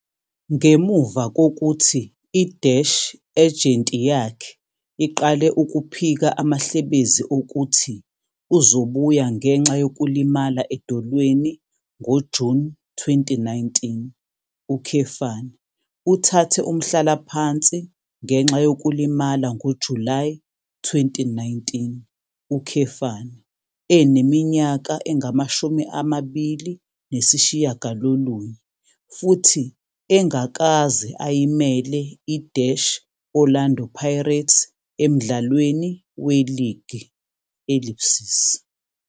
Ngemuva kokuthi i-ejenti yakhe iqale ukuphika amahlebezi okuthi uzobuya ngenxa yokulimala edolweni ngoJuni 2019, uthathe umhlalaphansi ngenxa yokulimala ngoJulayi 2019, eneminyaka engama-29 futhi engakaze ayimele i-Orlando Pirates emdlalweni weligi..